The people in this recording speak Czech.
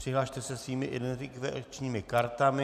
Přihlaste se svými identifikačními kartami...